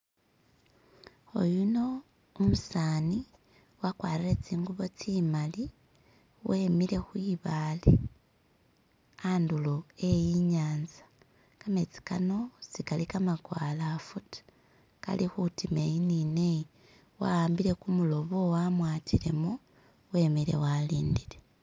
Oyuno umusani wakwarile tsingubo tsimali wemile khwibaale khadulo khe inyantsa kametsi khano tsikali kama gwalafu ta khali khutima eyi ni neyi wahambile kumulobo wamwatilemo wemile walindile